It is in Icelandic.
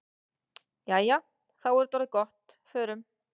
Jæja, þá er þetta orðið gott. Förum.